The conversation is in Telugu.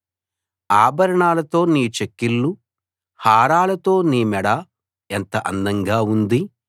ఆభరణాలతో నీ చెక్కిళ్లు హారాలతో నీ మెడ ఎంత అందంగా ఉంది